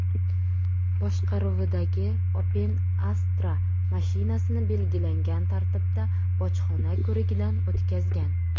boshqaruvidagi Opel Astra mashinasini belgilangan tartibda bojxona ko‘rigidan o‘tkazgan.